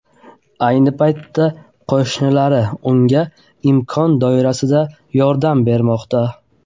Ayni paytda unga qo‘shnilari imkon doirasida yordam bermoqda.